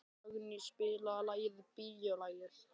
Dagný, spilaðu lagið „Bíólagið“.